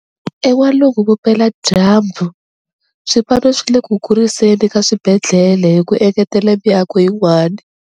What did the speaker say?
EN'walungu-Vupeladyambu, swipano swi le ku kuriseni ka swibedhlele hi ku engetela miako yin'wana.